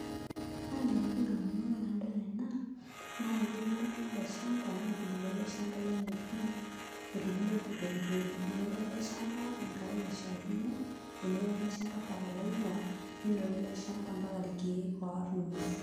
Ore entoki nalotu ndamunot tenadol ena naa etuuno oltung'ani ele shamba netubulua ele shamba lenye pii etubulua pii kweli kweli inoto ele shamba enkare naishiakino, inoto ele shamba fertilizer ninoto ele shamba ompaka irkeek oorr ng'uesin.